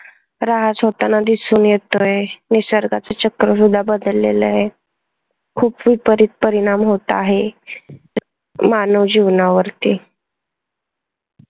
ऱ्हास होतांना दिसून येतोय निसर्गाचे चक्र सुद्धा बदललेले आहेत. खूप विपरीत परिणाम होत आहे मानव जीवनावरती.